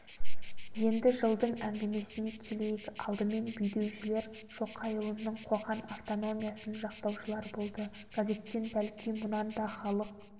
енді жылдың әңгімесіне келейік алдымен бүйдеушілер шоқайұлының қоқан автономиясын жақтаушылар болды газеттен бәлки мұнан да халық